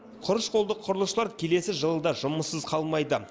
құрыш қолды құрылысшылар келесі жылы да жұмыссыз қалмайды